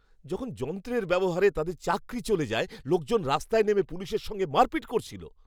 যখন যন্ত্রের ব্যবহারে তাদের চাকরি চলে যায়, লোকজন রাস্তায় নেমে পুলিশের সঙ্গে মারপিট করেছিল।